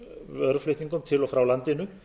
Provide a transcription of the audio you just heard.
vöruflutningum til og frá landinu